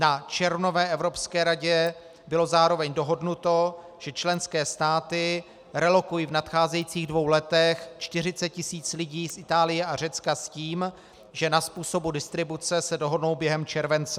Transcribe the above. Na červnové Evropské radě bylo zároveň dohodnuto, že členské státy relokují v nadcházejících dvou letech 40 tisíc lidí z Itálie a Řecka s tím, že na způsobu distribuce se dohodnou během července.